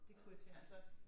Det kunne jeg tænke mig